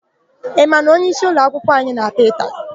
Ị ma na onyeisi ụloakwụkwọ anyị na-apịa ụtalị?